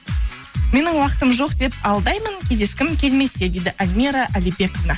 менің уақытым жоқ деп алдаймын кездескім келмесе дейді альмира алибековна